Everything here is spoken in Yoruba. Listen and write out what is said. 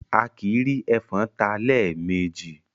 Akìí rí ẹfọ̀n ta lẹ́ẹ̀ mejì